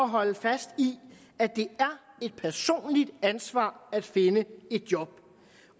holde fast i at det er et personligt ansvar at finde et job